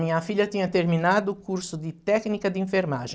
Minha filha tinha terminado o curso de técnica de enfermagem.